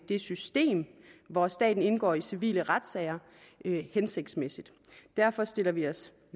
det system hvor staten indgår i civile retssager hensigtsmæssigt derfor stiller vi os